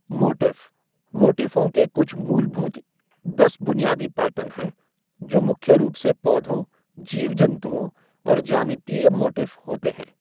Motif मोटिफ़ों के कुछ मूलभूत दस बुनियादी पैटर्न हैं जो मुख्य रूप से पौधों, जीव जन्तुओं और ज्यामितीय मोटिफ होते है।